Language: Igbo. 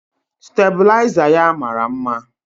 Stabịlaịza ya mara mma.